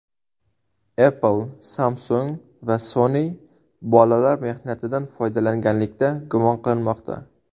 Apple, Samsung va Sony bolalar mehnatidan foydalanganlikda gumon qilinmoqda .